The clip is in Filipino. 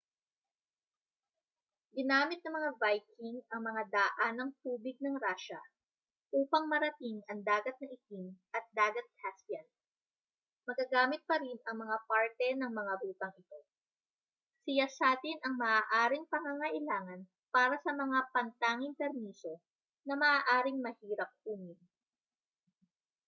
ginamit ng mga viking ang mga daanang-tubig ng rusya upang marating ang dagat na itim at dagat caspian magagamit pa rin ang mga parte ng mga rutang ito siyasatin ang maaaring pangangailangan para sa mga pantanging permiso na maaaring mahirap kunin